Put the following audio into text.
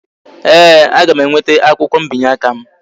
Ee, aga m enweta akwukwo mbinye aka m